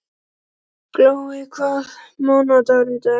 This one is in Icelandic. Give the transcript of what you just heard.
Glói, hvaða mánaðardagur er í dag?